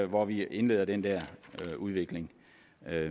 hvor vi indleder den der udvikling